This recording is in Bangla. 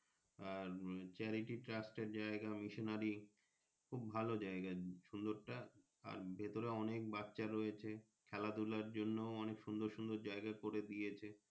আর CharityTrust অনুশীলনী খুব ভালো যাইগা সুন্দর টা আর ভেতরে অনেক বাচ্চা রয়েছে খেলাধুলার জন্য অনেক সুন্দর সুন্দর জায়গা কোরে দিয়েছে।